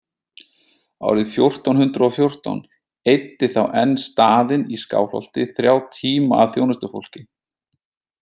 Árið fjórtán hundrað og fjórtán „eyddi þá enn staðinn í Skálholti þrjá tíma að þjónustufólki.